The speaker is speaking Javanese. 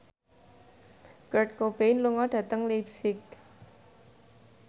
Kurt Cobain lunga dhateng leipzig